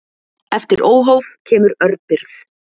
Eftir óhóf kemur örbirgð.